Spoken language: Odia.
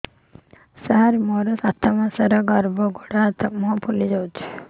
ସାର ମୋର ସାତ ମାସର ଗର୍ଭ ଗୋଡ଼ ହାତ ମୁହଁ ଫୁଲି ଯାଉଛି